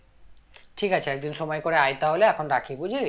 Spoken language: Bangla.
ঠিক আছে একদিন সময় করে আয়ে তাহলে এখন রাখি বুঝলি